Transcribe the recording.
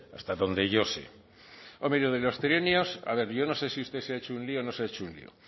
hasta donde yo sé hombre y lo de los trienios a ver yo no sé si usted se ha hecho un lío o no se ha hecho un lío